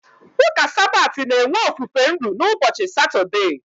Ụka Sabat na-enwe ofufe nru n'ụbọchị Satọdee.